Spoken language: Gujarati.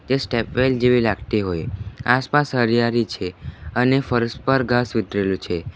એ સ્ટેપ વેલ જેવી લાગતી હોય આસપાસ હરીયાળી છે અને ફર્શ પર ઘાસ ઉતરેલું છે.